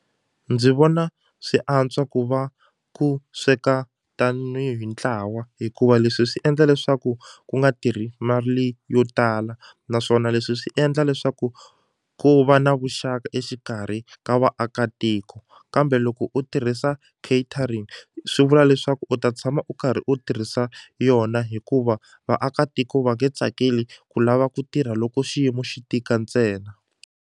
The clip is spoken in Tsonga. Ndzi vona swi antswa ku va ku sweka tanihi ntlawa hikuva leswi swi endla leswaku ku nga tirhi mali yo tala naswona leswi swi endla leswaku ku va na vuxaka exikarhi ka vaakatiko kambe loko u tirhisa catering swi vula leswaku u ta tshama u karhi u tirhisa yona hikuva vaakatiko va nge tsakeli ku lava ku tirha loko xiyimo xi tika ntsena.